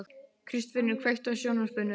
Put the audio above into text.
Kristfinnur, kveiktu á sjónvarpinu.